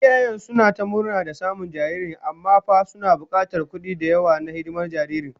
Iyayen suna ta murna da samun jariri, amma fa suna bukatar kudi da yawa na hidimar jaririn